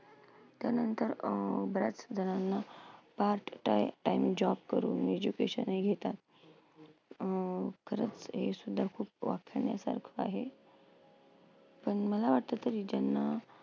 त्यानंतर अं बऱ्याचजणांना part time job करून education ही घेतात. अं खरंच हे सुद्धा खूप आहे. पण मला वाटतं तरी ज्यांना